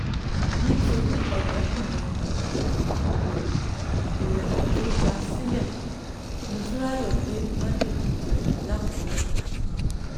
nítorí ọ̀rẹ́kùnrin um rẹ̀ rẹ̀ tó já a sílẹ̀ motunráyò gbé májèlé jẹ lákúrẹ́ um